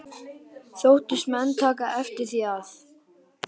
Þóttust menn taka eftir því, að